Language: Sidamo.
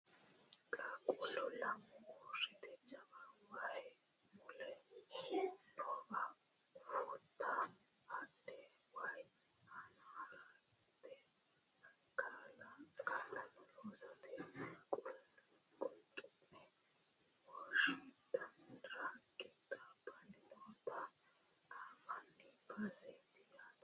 qaaqquullu lamu uurrite jawu wayi mule noowa fuutta haadhe waye aana harate kaa'lannore loosatenna qulxu'me woshshaaddara qixxaabbanni noota anfanni baseeti yaate